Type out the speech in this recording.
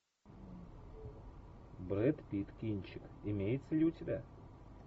брэд питт кинчик имеется ли у тебя